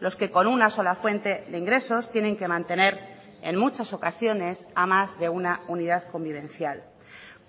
los que con una sola fuente de ingresos tienen que mantener en muchas ocasiones a más de una unidad convivencial